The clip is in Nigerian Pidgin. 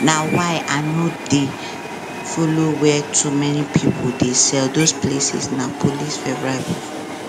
na why i no dey follow where too many people dey sell those places na police favorite buffet